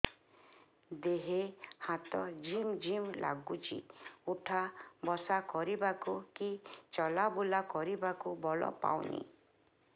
ଦେହେ ହାତ ଝିମ୍ ଝିମ୍ ଲାଗୁଚି ଉଠା ବସା କରିବାକୁ କି ଚଲା ବୁଲା କରିବାକୁ ବଳ ପାଉନି